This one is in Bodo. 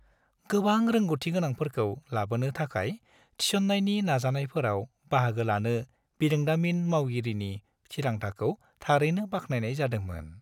गोबां रोंग'थिगोनांफोरखौ लाबोनो थाखाय थिसननायनि नाजानायफोराव बाहागो लानो बिरोंदामिन मावगिरिनि थिरांथाखौ थारैनो बाख्नायनाय जादोंमोन।